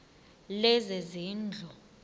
lezezindlu